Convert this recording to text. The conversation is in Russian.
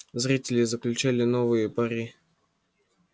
зрители заключали новые пари